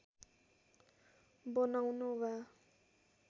बनाउन वा